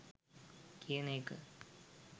කියන එක